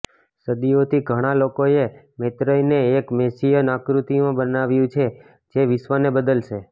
સદીઓથી ઘણા લોકોએ મૈત્રેયને એક મૅસિઅન આકૃતિમાં બનાવ્યું છે જે વિશ્વને બદલશે